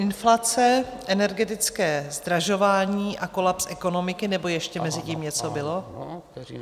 Inflace, energetické zdražování a kolaps ekonomiky - nebo ještě mezi tím něco bylo?